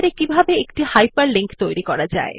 এরপর আমরা দেখব Writer এ কিভাবে হাইপারলিক তৈরী করা যায়